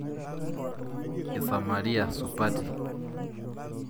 Isamaria supati.